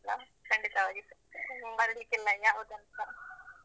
ಅಲಾ? ಖಂಡಿತವಾಗಿಸ. ಮರಿಲಿಕ್ಕಿಲ್ಲ ಯಾವುದನ್ನುಸಾ.